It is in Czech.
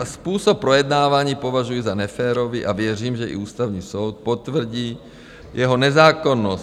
a způsob projednávání považuji za neférový a věřím, že i Ústavní soud potvrdí jeho nezákonnost.